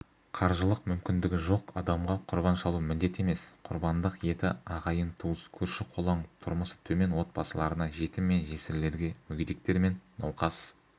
қаржылық мүмкіндігі жоқ адамға құрбан шалу міндет емес құрбандық еті ағайын-туыс көрші-қолаң тұрмысы төмен отбасыларына жетім мен жесірлерге мүгедектер мен науқас